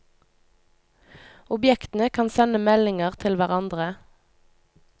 Objektene kan sende meldinger til hverandre.